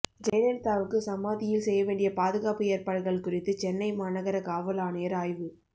ஜெயலலிதாவுக்கு சமாதியில் செய்யவேண்டிய பாதுகாப்பு ஏற்பாடுகள் குறித்து சென்னை மாநகர காவல் ஆணையர் ஆய்வு